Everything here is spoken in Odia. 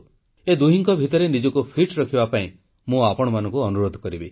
ଏ ଦୁହିଁଙ୍କ ଭିତରେ ନିଜକୁ ଫିଟ୍ ରଖିବା ପାଇଁ ମୁଁ ଆପଣମାନଙ୍କୁ ଅନୁରୋଧ କରିବି